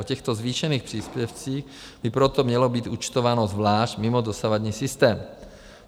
O těchto zvýšených příspěvcích by proto mělo být účtováno zvlášť, mimo dosavadní systém.